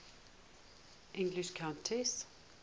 english countesses